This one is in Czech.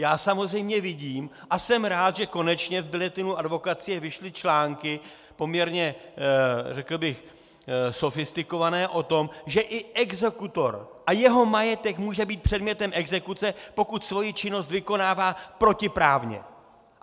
Já samozřejmě vidím a jsem rád, že konečně v Bulletinu advokacie vyšly články poměrně, řekl bych, sofistikované o tom, že i exekutor a jeho majetek může být předmětem exekuce, pokud svoji činnost vykonává protiprávně.